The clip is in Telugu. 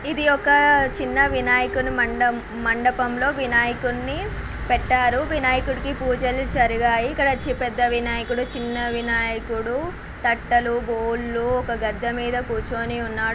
ఇది ఒక చిన్న వినాయకుని మండ--మండపంలో వినాయకుణ్ణి పెట్టారు వినాయకునికి పూజలు జరిగాయి ఇక్కడ పెద్ద వినాయకుడు చిన్న వినాయకుడు తట్టలు బోళ్ళు ఒక గద్దె మీద కూర్చొని ఉన్నాడు.